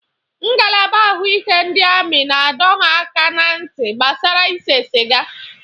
Ngalaba ahụike ndị amị na-adọ ha aka ná ntị gbasara ise sịga.